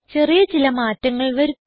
ചെറിയ ചില മാറ്റങ്ങൾ വരുത്താം